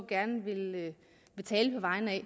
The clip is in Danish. gerne vil tale på vegne af